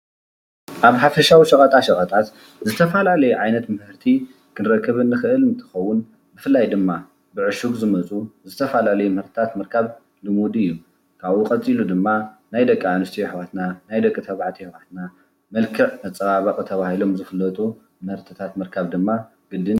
ኣብ ሓፈሻዊ ሸቀጣሸቀጣታት ዝተፈላለዩ ዓይነታት ምህርቲ ክንረክብ እንክእል እንትከውን ብፍላይ ድማ ብዕሹግ ዝመፁ ዝተፈላለዩ ምህረትታት ምርካብ ልሙድ እዩ። ካብኡ ቀፂሉ ድማ ናይ ደቂ ኣንስትዮ ኣሕዋትና ናይ ደቂ ተባዕትዮ ኣሕዋትና መልክዕ መፀባበቂ ተባሂሎም ዝፍለጡ ምህርትታት ምርካብ ግድን እዩ።